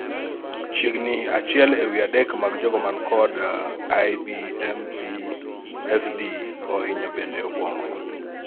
chiegni achiel ewi adek mag jogo man kod IBMPFD ohinyo bende obuongo